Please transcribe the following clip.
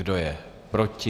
Kdo je proti?